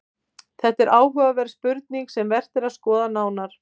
Þetta er áhugaverð spurning sem vert er að skoða nánar.